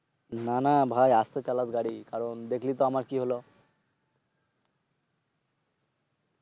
না না ভাই আস্তে গাড়ি চালাইস গাড়ি। দেখলি তো আমার কি লহো?